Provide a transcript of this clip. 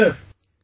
Yes sir